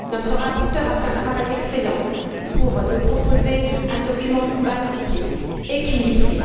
Notre rapporteure a fait un travail excellent pour nous proposer un document équilibré.